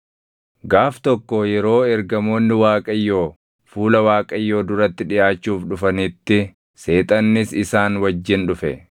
Gaaf tokko yeroo ergamoonni Waaqayyoo fuula Waaqayyoo duratti dhiʼaachuuf dhufanitti Seexannis isaan wajjin dhufe.